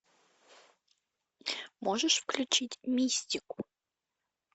можешь включить мистику